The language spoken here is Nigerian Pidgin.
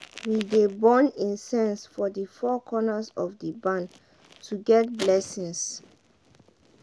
we dey burn incense for the four corners of the barn to get blessings.